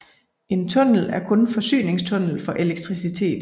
En tunnel er kun forsyningstunnel for elektricitet